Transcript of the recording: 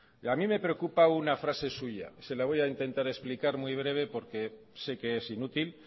a mi me preocupa una frase suya se la voy a intentar explicar muy breve porque sé que es inútil